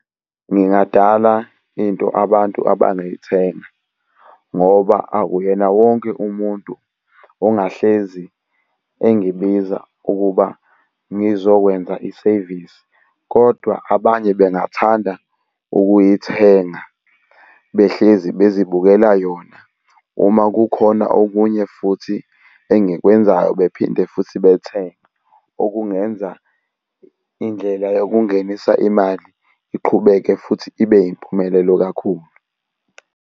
Ngingadala into abantu abangayithenga, ngoba akuyena wonke umuntu ongahlezi engibiza ukuba ngizokwenza isevisi, kodwa abanye bengathanda ukuyithenga behlezi bezibukela yona. Uma kukhona okunye futhi engikwenzayo bephinde futhi bethenge. Okungenza indlela yokungenisa imali iqhubeke futhi ibe yimpumelelo kakhulu.